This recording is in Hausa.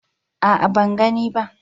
a'a ban gani ba